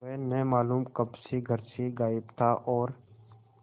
वह न मालूम कब से घर से गायब था और